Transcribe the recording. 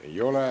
Ei ole.